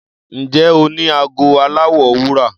Ǹjẹ́ o ní ago aláwọ̀ wúrà?